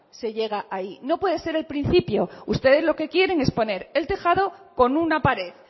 se llega ahí no puede ser el principio ustedes lo que quieren es poner el tejado con una pared